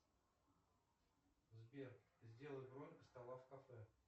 сбер сделай бронь стола в кафе